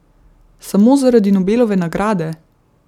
Samo zaradi Nobelove nagrade?